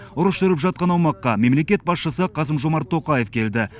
ұрыс жүріп жатқан аймаққа мемлекет басшысы қасым жомарт тоқаев келді